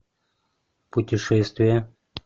путешествие